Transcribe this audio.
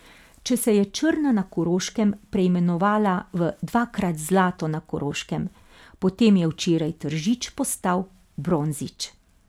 Če se je Črna na Koroškem preimenovala v dvakrat Zlato na Koroškem, potem je včeraj Tržič postal Bronzič.